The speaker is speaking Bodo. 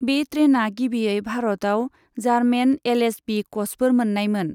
बे ट्रेइना गिबियै भारताव जारमेन एलऐचबि क'चफोर मोननायमोन।